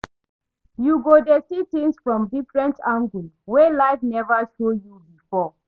Yu go dey see tins from diffrent angle wey life neva show yu bifor